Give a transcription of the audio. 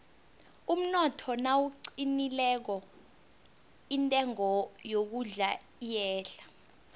umnotho nawuqinileko intengo yokudla iyehla